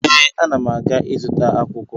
Ee, ana m aga ịzụta akwụkwọ